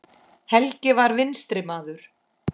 Helgi var vinstri maður.